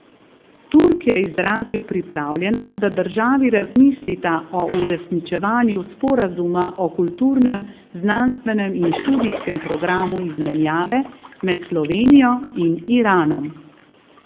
Turk je izrazil pripravljenost, da državi razmislita o uresničevanju sporazuma o kulturnem, znanstvenem in študijskem programu izmenjave med Slovenijo in Iranom.